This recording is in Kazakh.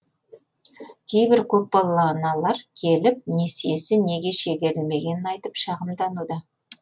кейбір көпбалалы аналар келіп несиесі неге шегерілмегенін айтып шағымдануда